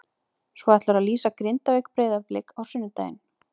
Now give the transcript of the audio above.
Svo ætlarðu að lýsa Grindavík- Breiðablik á sunnudaginn?